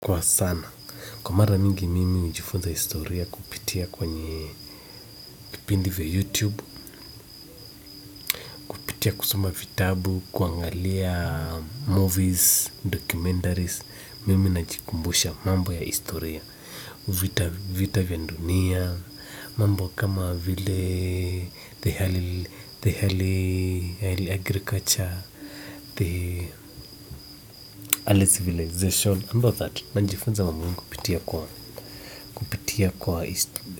Kwa sana, kwa mara mingi mimi ujifunza historia kupitia kwenye kipindi vya youtube, hupitia kusoma vitabu, kuangalia movies, documentaries, mimi najikumbusha mambo ya historia, vita vya dunia, mambo kama vile the early agriculture, the early civilization, under that, najifunza mambo mingi kupitia kwa history.